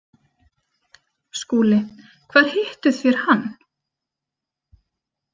SKÚLI: Hvar hittuð þér hann?